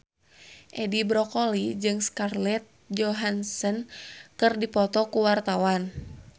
Edi Brokoli jeung Scarlett Johansson keur dipoto ku wartawan